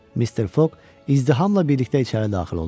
Mister Foq izdihamla birlikdə içəri daxil oldu.